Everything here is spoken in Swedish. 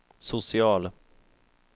social